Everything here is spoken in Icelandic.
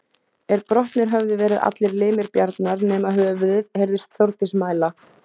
Er brotnir höfðu verið allir limir Bjarnar nema höfuðið, heyrðist Þórdís mæla